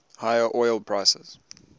higher oil prices